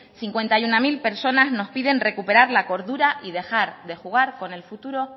cincuenta y uno mil personas nos piden recuperar la cordura y dejar de jugar con el futuro